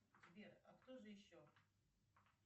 сбер а кто же еще